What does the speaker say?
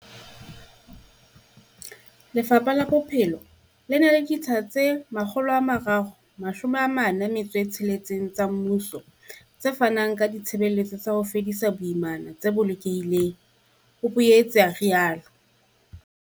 Lefapha la Bophelo le na le ditsha tse 346 tsa mmuso tse fanang ka ditshebeletso tsa ho fedisa boimana tse bolokehileng, o boetse a rialo.